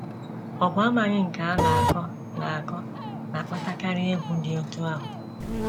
Ọ bụ amaghị nke a na - akọ na - akọ na - akpatakarị egwu dị otú ahụ.